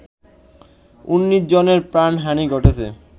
১৯ জনের প্রাণহানি ঘটেছে